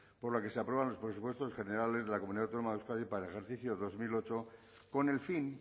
por la que se aprueban los presupuestos generales de la comunidad autónoma de euskadi para el ejercicio dos mil ocho con el fin